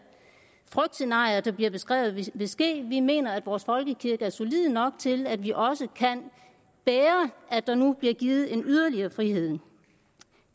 frygtscenarier der bliver beskrevet vil ske vi mener at vores folkekirke er solid nok til at den også kan bære at der nu bliver givet yderligere en frihed